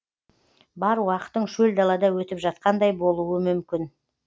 бар уақытың шөл далада өтіп жатқандай болуы мүмкін